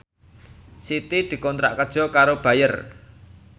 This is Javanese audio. Siti dikontrak kerja karo Bayer